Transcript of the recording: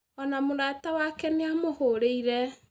Ona mũrata wake nĩ a mũhũrĩire